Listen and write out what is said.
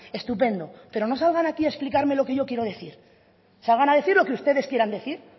estupendo pero no salgan aquí a explicarme lo que yo quiero decir salgan a decir lo que ustedes quieran decir